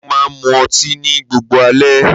Mo máa ń mú ọtí ní gbogbo alẹ́.